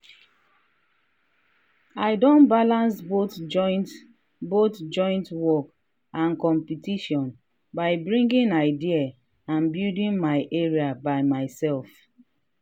i don ballance both joint both joint work and competition by bringing idea and building my area by myself.